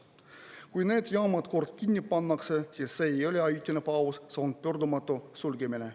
Kui need jaamad kord kinni pannakse, siis see ei ole ajutine paus, see on pöördumatu sulgemine.